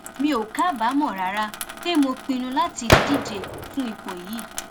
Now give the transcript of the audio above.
mi ò kábàámọ rárá pé mo pinnu láti díje fún ipò yìí